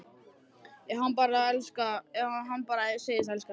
Ef hann bara segðist elska hana: